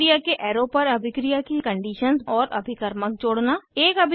अभिक्रिया के एरो पर अभिक्रिया की कंडीशंस और अभिकर्मक जोड़ना